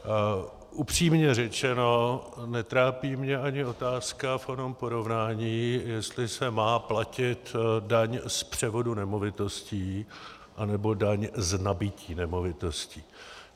Upřímně řečeno netrápí mě ani otázka v onom porovnání, jestli se má platit daň z převodu nemovitostí, anebo daň z nabytí nemovitostí.